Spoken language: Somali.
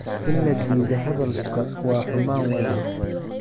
In la diido hadalka waa xumaan walaal.